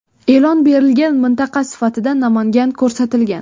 E’lon berilgan mintaqa sifatida Namangan ko‘rsatilgan.